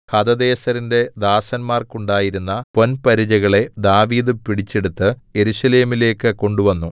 ഹദദേസെരിന്റെ ദാസന്മാർക്കുണ്ടായിരുന്ന പൊൻപരിചകളെ ദാവീദ് പിടിച്ചെടുത്ത് യെരൂശലേമിലേക്കു കൊണ്ടുവന്നു